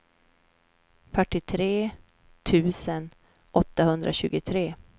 fyrtiotre tusen åttahundratjugotre